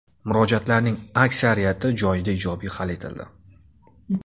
Murojaatlarning aksariyati joyida ijobiy hal etildi.